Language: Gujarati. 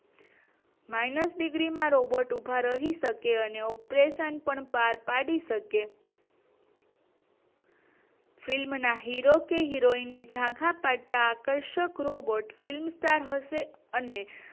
માઇનસ ડિગ્રી માં રોબોર્ટ ઉભા રહી શકશે અને ઓપરેશન પણ પાર પાડી શકે ફિલ્મ ના હીરો અને હિરોઈન ને જોઈને ઝાંખા પડતા આકર્ષણ રોબોટ ફિલ્મસ્ટાર હશે અને